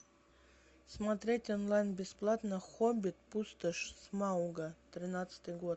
смотреть онлайн бесплатно хоббит пустошь смауга тринадцатый год